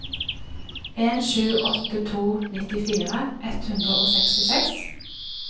en sju åtte to nittifire ett hundre og sekstiseks